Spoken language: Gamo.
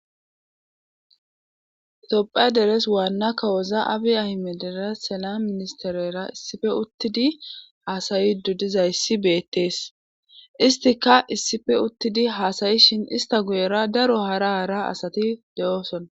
Toppha deres waanna kawoza abi ahime dere sela ministerera issife uttidi haasayidu dizayssi beettees istika issife uttidi haasayi shin ista guyera daro hara ara asati de'ooson.